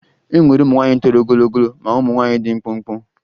E nwere ụmụ nwaanyị toro ogologo ma ụmụ nwaanyị dị mkpụmkpụ